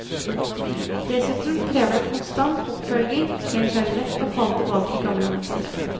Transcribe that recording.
Dessuten krever det konstant oppfølging, ellers er det lett å falle tilbake i gamle mønstre.